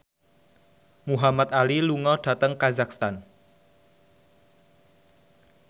Muhamad Ali lunga dhateng kazakhstan